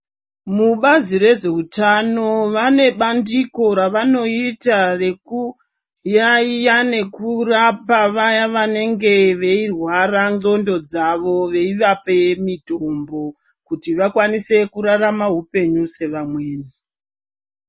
Mubazi rezveutano vane bandiko ravanoita rekuyaiya nekurapa vaya vanenge veirwara ndxondo dzawo veivape mitombo kuti vakwanise kurarama hupenyu sevamweni.